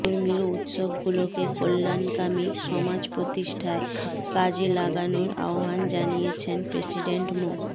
ধর্মীয় উৎসবগুলোকে কল্যাণকামী সমাজ প্রতিষ্ঠায় কাজে লাগানোর আহ্বান জানিয়েছেন প্রেসিডেন্ট মো